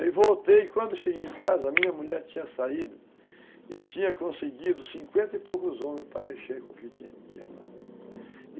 Aí voltei e quando cheguei em casa, a minha mulher tinha saído e tinha conseguido cinquenta e poucos homens para mexer com o que tinha lá.